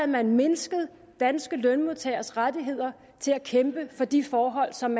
man mindsket danske lønmodtageres rettigheder til at kæmpe for de forhold som